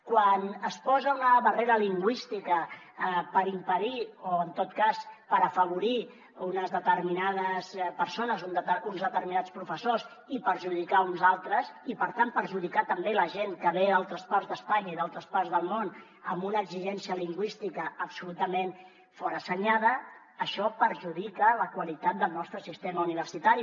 quan es posa una barrera lingüística per impedir o en tot cas per afavorir unes determinades persones uns determinats professors i perjudicar ne uns altres i per tant perjudicar també la gent que ve d’altres parts d’espanya i d’altres parts del món amb una exigència lingüística absolutament forassenyada això perjudica la qualitat del nostre sistema universitari